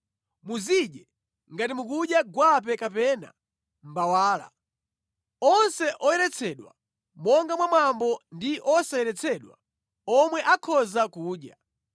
Muzidye ngati mukudya gwape kapena mbawala. Onse oyeretsedwa monga mwa mwambo ndi osayeretsedwa omwe akhoza kudya.